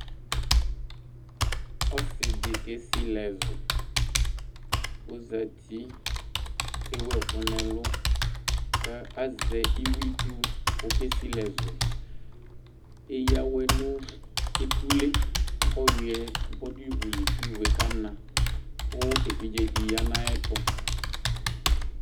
Ɔsidi kesili ɛzu ɔzati ku ewu ɛku nu ɛlu azɛ iwluitsu ku ɔke sili ɛzu eya awɛ nu etule ɔyuɛ du ivuli ku ivue kana ku evidze di ya nu ayɛtu